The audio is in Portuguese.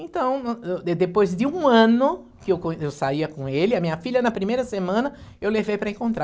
Então, de depois de um ano que eu co eu saía com ele, a minha filha na primeira semana, eu levei para encontrar.